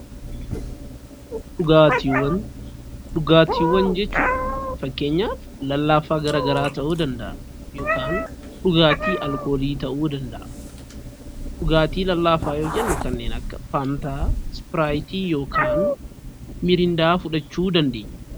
Dhugaatiiwwan, dhugaatiiwwan jechuun fakkeenyaf lallaafaa garaa garaa ta'uu danda'a yookan dhugaatii alkoolii ta'uu danda'a. Dhugaatii lallaafaa yoo jennu kanneen akka faantaa, ispiraayitii yookaan mirindaa fudhachuu dandeenya.